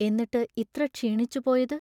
എന്നിട്ട് ഇത്ര ക്ഷീണിച്ചുപോയത്?